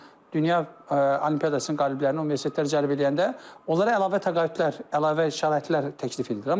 Məsələn, dünya olimpiadasının qaliblərini universitetlər cəlb eləyəndə, onlara əlavə təqaüdlər, əlavə şəraitlər təklif edirlər.